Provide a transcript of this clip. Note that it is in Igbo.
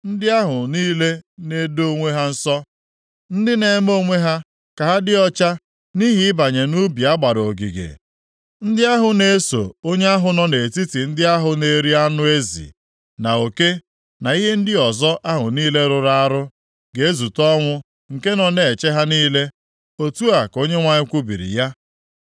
“Ndị ahụ niile na-edo onwe ha nsọ, ndị na-eme onwe ha ka ha dị ọcha nʼihi ịbanye nʼubi a gbara ogige, ndị ahụ na-eso onye ahụ nọ nʼetiti ndị ahụ na-eri anụ ezi, na oke, na ihe ndị ọzọ ahụ niile rụrụ arụ, ga-ezute ọnwụ nke nọ na-eche ha niile.” Otu a ka Onyenwe anyị kwubiri ya.